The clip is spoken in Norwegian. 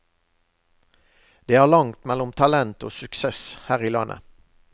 Det er langt mellom talent og suksess her i landet.